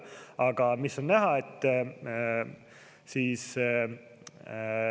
Aga mis on näha?